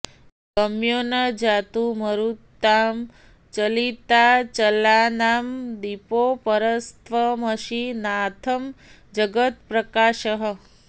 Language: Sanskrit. गम्यो न जातु मरुतां चलिताचलानां दीपोऽपरस्त्वमसि नाथ् जगत्प्रकाशः